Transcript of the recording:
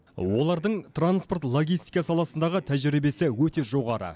олардың транспорт логистика саласындағы тәжірибесі өте жоғары